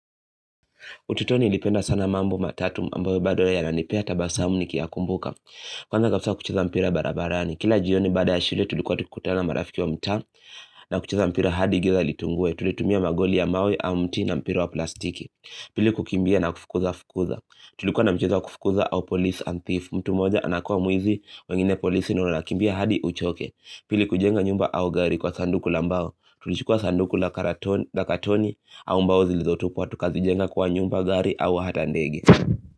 Ututoni nilipenda sana mambo matatu ambayo bado yananipea tabasamu nikiyakumbuka. Kwanza kabisa kucheza mpira barabarani. Kila jioni baada ya shule tulikuwa tukikutana marafiki wa mtaa na kucheza mpira hadi giza litungue. Tulitumia magoli ya mawe au mti na mpira wa plastiki. Pili kukimbia na kufukuza fukuza. Tulikuwa na mchezo wa kufukuza au police and thief. Mtu moja anakua muizi wengine polisi na unakimbia hadi uchoke. Pili kujenga nyumba au gari kwa sanduku la mbao. Tulichukua sanduku la katoni au mbao zilizotupwa. Na tukazijenga kywa nyumba gari au hata ndege.